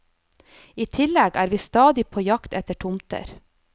I tillegg er vi stadig på jakt etter tomter.